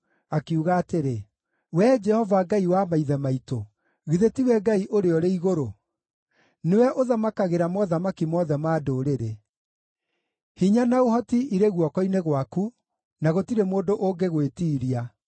akiuga atĩrĩ: “Wee Jehova, Ngai wa maithe maitũ, githĩ tiwe Ngai ũrĩa ũrĩ igũrũ? Nĩwe ũthamakagĩra mothamaki mothe ma ndũrĩrĩ. Hinya na ũhoti irĩ guoko-inĩ gwaku, na gũtirĩ mũndũ ũngĩgwĩtiiria.